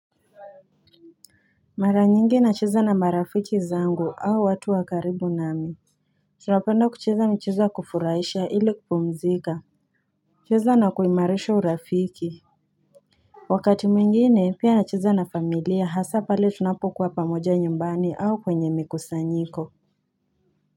Mara nyingi na cheza na marafiki zangu au watu wakaribu nami. Tunapenda kucheza michezo kufuraisha ili kupumzika. Cheza na kuimarisha urafiki. Wakati mwingine pia na cheza na familia hasa pale tunapo kuwa pamoja nyumbani au kwenye mikusanyiko.